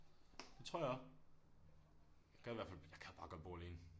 Det tror jeg også gad i hvert fald jeg gad bare godt bo alene